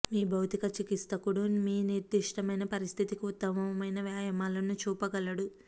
మీ భౌతిక చికిత్సకుడు మీ నిర్దిష్టమైన పరిస్థితికి ఉత్తమమైన వ్యాయామాలను చూపగలడు